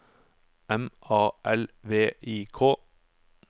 M A L V I K